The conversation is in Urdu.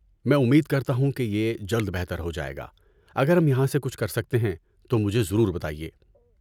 میں امید کرتا ہوں کہ یہ جلد بہتر ہو جائے گا۔ اگر ہم یہاں سے کچھ کر سکتے ہیں تو مجھے ضرور بتائیے۔